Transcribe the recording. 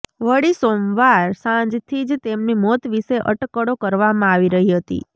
વળી સોમવાર સાંજથી જ તેમની મોત વિષે અટકળો કરવામાં આવી રહી હતી